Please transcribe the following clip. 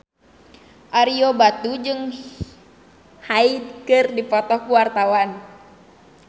Ario Batu jeung Hyde keur dipoto ku wartawan